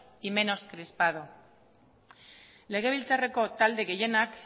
y menos crispado legebiltzarreko talde gehienak